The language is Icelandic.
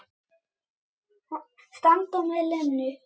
Standa með Lenu.